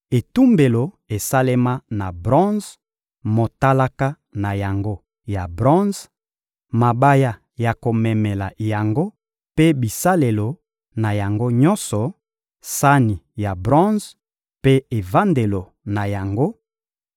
etumbelo esalema na bronze, motalaka na yango ya bronze, mabaya ya komemela yango mpe bisalelo na yango nyonso, sani ya bronze mpe evandelo na yango,